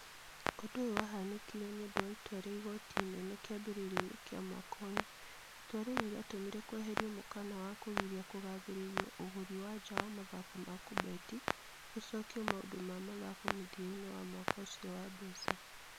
Ũndũ ũyũ wahanĩkire nĩ ũndũ wa itua rĩa igooti inee kĩambĩrĩria-inĩ kĩa mwaka ũyũ. Itua rĩrĩ rĩatũmire kweherio mũkana wa kũgiria kũgathĩrĩrio ũgũri wa nja wa mathako ma kũbeti. Gogĩcokio maũndũ ma mathako mũthia-inĩ wa mwaka ũcio wa mbeca.